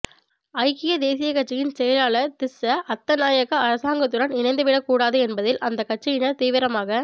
ஐக்கிய தேசியக்கட்சியின் செயலாளர் திஸ்ஸ அத்தநாயக்க அரசாங்கத்துடன் இணைந்துவிடக்கூடாது என்பதில் அந்தக்கட்சியினர் தீவிரமாக